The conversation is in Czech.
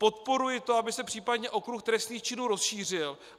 Podporuji to, aby se případně okruh trestných činů rozšířil.